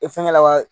E fɛngɛ la wa